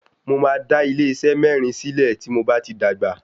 Mo máa dá ilé iṣé mẹ́rin sílẹ̀ tí mo bá ti dàgbà.